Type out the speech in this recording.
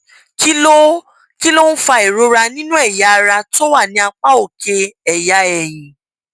kí ló kí ló ń fa ìrora nínú èyà ara tó wà ní apá òkè èyà èyìn